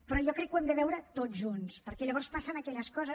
però jo crec que ho hem de veure tots junts perquè llavors passen aquelles coses